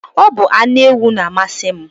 Ọ bu anu ewu na-amasi m.